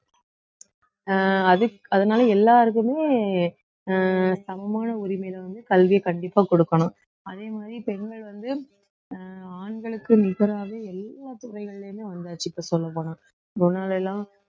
அஹ் அதுக்~ அதனால எல்லாருக்குமே அஹ் சமமான உரிமையில வந்து கல்வியை கண்டிப்பா கொடுக்கணும் அதே மாதிரி பெண்கள் வந்து அஹ் ஆண்களுக்கு நிகராக எல்லா துறைகள்லயுமே வந்தாச்சு இப்ப சொல்லப்போனா முன்னாடிலாம்